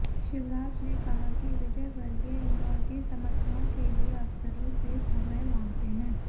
शिवराज ने कहा कि विजयवर्गीय इंदौर की समस्याओं के लिए अफसराें से समय मांगते हैं